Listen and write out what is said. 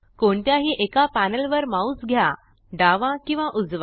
कोणत्याही एका पॅनल वर माउस घ्या डावा किंवा उजवा